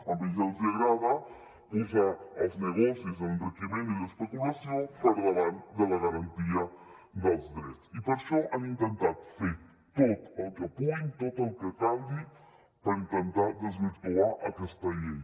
a ells els agrada posar els negocis l’enriquiment i l’especulació per davant de la garantia dels drets i per això han intentat fer tot el que puguin tot el que calgui per intentar desvirtuar aquesta llei